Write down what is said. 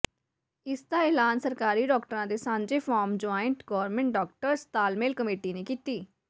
ਇਸ ਦਾ ਐਲਾਨ ਸਰਕਾਰੀ ਡਾਕਟਰਾਂ ਦੇ ਸਾਂਝੇ ਫੋਰਮ ਜੁਆਇੰਟ ਗੌਰਮਿੰਟ ਡਾਕਟਰਸ ਤਾਲਮੇਲ ਕਮੇਟੀ ਨੇ ਕੀਤੀ